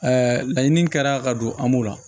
laɲini kɛra ka don an b'o la